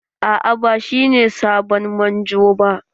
Aa ba shine sabon manjo ba.